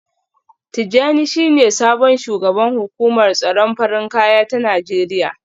Tijjani shine sabon shugaban hukumar tsaron farin kaya ta Najeriya